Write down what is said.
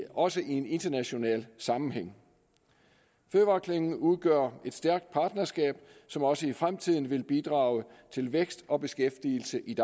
også i en international sammenhæng fødevareklyngen udgør et stærkt partnerskab som også i fremtiden vil bidrage til vækst og beskæftigelse i